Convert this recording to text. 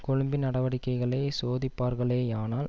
கொழும்பின் நடவடிக்கைகளை சோதிப்பார்களேயானால்